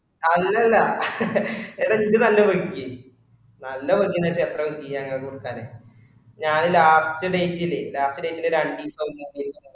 അല്ല അല്ല എ എട ഇജ്ജ് നല്ല പഠിക്ക് നല്ല ഞാന് last date ല് last date ല് ഒര് ആൻജിസം